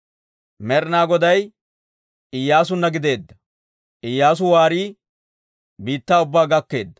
Med'ina Goday Iyyaasunna gideedda; Iyyaasu waarii biittaa ubbaa gakkeedda.